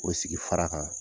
O sigi fara kan